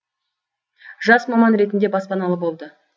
жас маман ретінде баспаналы болды